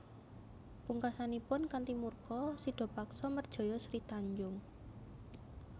Pungkasanipun kanthi murka Sidapaksa merjaya Sri Tanjung